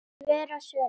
Svör og svör ekki.